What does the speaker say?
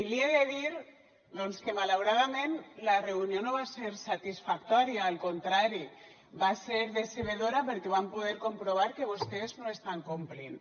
i li he de dir doncs que malauradament la reunió no va ser satisfactòria al contrari va ser decebedora perquè vam poder comprovar que vostès no estan complint